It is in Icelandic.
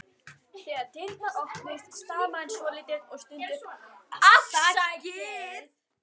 Þegar dyrnar opnuðust stamaði hann svolítið og stundi upp: Afsakið